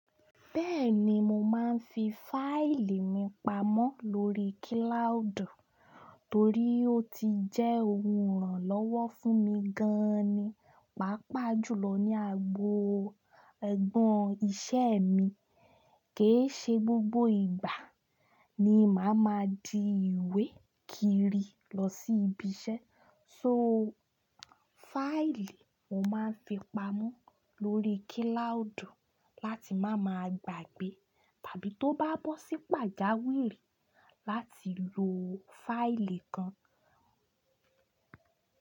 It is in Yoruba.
Bẹ́ẹ̀ni mo máa n fi fáìlì mi pamọ́ lórí cloud torí ó ti jẹ́ ohun ìrànlọ́wọ́ fúnmi gan ni. Pápá jùlọ ní agbo ẹgbọn iṣẹ́ mi. Kì í ṣe gbogbo ìgbà ni màá máa di ìwé kiri lọ sí ibi iṣẹ́. So fáìlì mo máa ń fi pamọ́ lórí kíláùdù láti má máa gbàgbé tàbí tó bá bọ́ sí pàjáwìrì láti lo fáìlì kan.